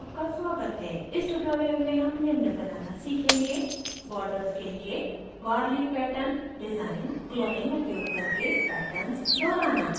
इस tutorial में हम निम्न बनाना सीखेंगे